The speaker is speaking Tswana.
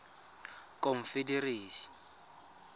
confederacy